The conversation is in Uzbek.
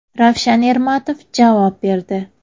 Ravshan Ermatov javob berdi.